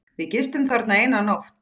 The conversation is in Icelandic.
Við gistum þarna eina nótt.